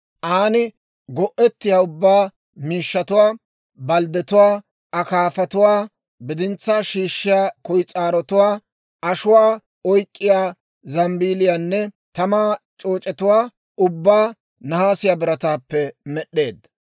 An go'ettiyaa ubbaa miishshatuwaa, balddetuwaa, akaafatuwaa, bidintsaa shiishshiyaa kuyis'aarotuwaa, ashuwaa oyk'k'iyaa zambeeliyaanne tamaa c'ooc'etuwaa ubbaa nahaasiyaa birataappe med'd'eedda.